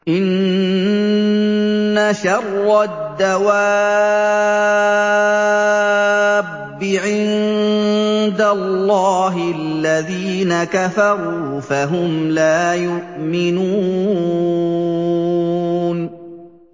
إِنَّ شَرَّ الدَّوَابِّ عِندَ اللَّهِ الَّذِينَ كَفَرُوا فَهُمْ لَا يُؤْمِنُونَ